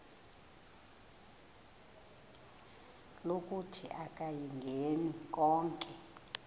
lokuthi akayingeni konke